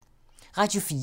Radio 4